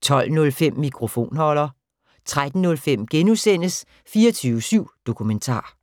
12:05: Mikrofonholder 13:05: 24syv Dokumentar *